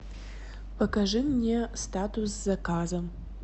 покажи мне статус заказа